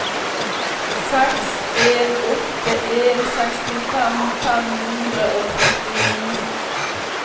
seks en åtte en sekstifem fem hundre og førtini